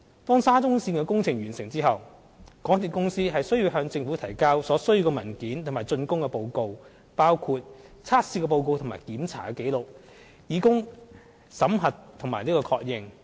當沙中線工程完成後，港鐵公司須向政府提交所需文件及竣工報告，包括測試報告和檢查紀錄，以供審核並確認。